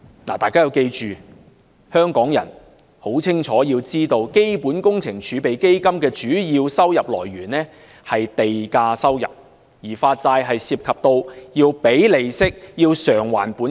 "大家要記住，香港人亦要清楚知道，基本工程儲備基金的主要收入來源是地價收入，而發債則涉及支付利息和償還本金。